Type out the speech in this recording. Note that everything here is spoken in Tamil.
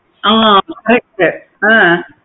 ஆஹ் correct ஆஹ்